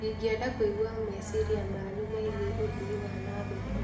Ingĩenda kũigua meciria manyu megie ũthii wa na mbere.